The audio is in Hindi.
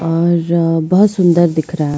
और बहुत सुंदर दिख रहा है।